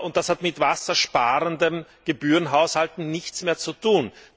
Das hat mit wassersparenden Gebührenhaushalten nichts mehr zu tun.